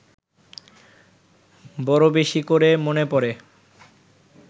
বড় বেশি করে মনে পড়ে